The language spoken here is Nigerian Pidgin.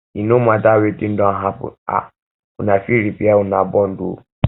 e no mata wetin don happen um una fit repair una bond o